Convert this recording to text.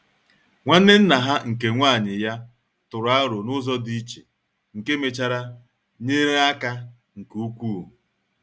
Nwanne nna ha nke nwanyị ya tụrụ aro n'ụzọ dị iche, nke mechara nyere aka nke ukwuu.